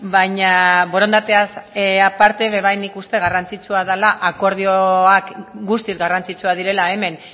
baina borondateaz aparte nik uste dut akordioak guztiz garrantzitsuak direla hemen